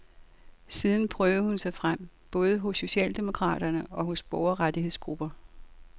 Siden prøvede hun sig frem både hos socialdemokraterne og hos borgerrettighedsgrupper.